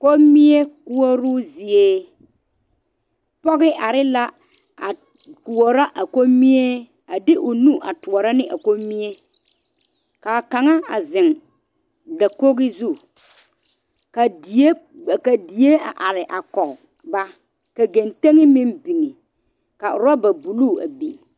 Komie koɔroo zie pɔge are la a koɔrɔ a komie a de o nu a doɔre ne a komie kaa kaŋa a zeŋ dakogi zu Ka die ka die a are a koge ba ka kentegi a biŋ ka orɔba buluu a biŋ